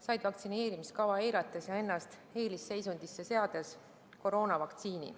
said vaktsineerimiskava eirates ja ennast eelisseisundisse seades koroonavaktsiini.